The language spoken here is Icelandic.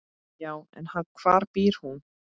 Já, en hvar býr hún?